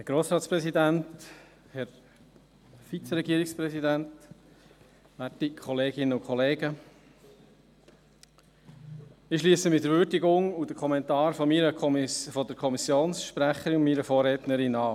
Ich schliesse mich der Würdigung und dem Kommentar der Kommissionssprecherin, meiner Vorrednerin, an.